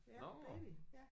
Nåh